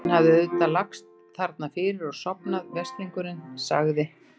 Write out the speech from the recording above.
Hann hafði auðvitað bara lagst þarna fyrir og sofnað, veslingurinn, sagði